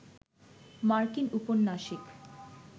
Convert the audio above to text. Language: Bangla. মার্কিন উপন্যাসিক